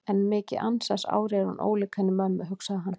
En mikið ansans ári er hún ólík henni mömmu, hugsaði hann.